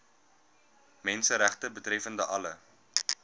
menseregte betreffende alle